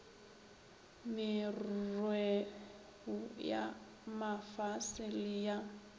merreo ya mafase le ya